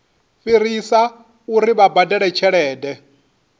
fhirisa uri vha badele tshelede